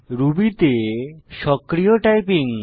Ruby তে সক্রিয় typing